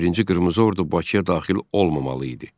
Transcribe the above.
11-ci Qırmızı Ordu Bakıya daxil olmamalı idi.